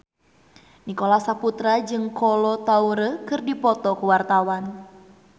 Nicholas Saputra jeung Kolo Taure keur dipoto ku wartawan